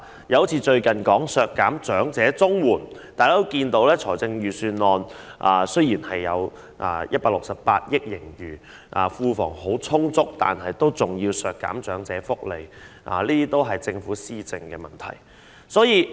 又例如最近的削減長者綜援措施，儘管財政預算案披露本年度有168億元盈餘，庫房資源很充足，但仍要削減長者福利，這都是政府的施政問題。